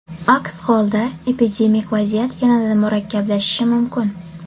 Aks holda epidemik vaziyat yanada murakkablashishi mumkin.